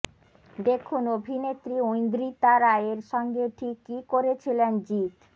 দেখুন অভিনেত্রী ঐন্দ্রিতা রায়ের সঙ্গে ঠিক কী করেছিলেন জিৎ